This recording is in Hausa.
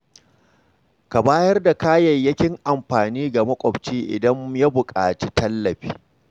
Ka bayar da kayayyakin amfani ga makwabci idan ya buƙaci tallafi.